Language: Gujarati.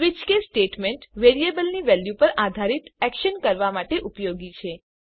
સ્વીચ કેસ સ્ટેટમેન્ટ વેરિયેબલની વેલ્યુ પર આધારિત એક્શન કરવા માટે ઉપયોગી છે